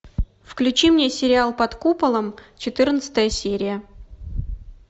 включи мне сериал под куполом четырнадцатая серия